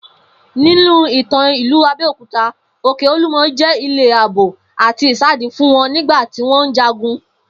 Ninu ìtàn ìlú Abé̩okuta, Òkè Olúmo̩ jé̩ ilé àbò àti ìsádi fún wo̩n nígbà tí wó̩n ń jagun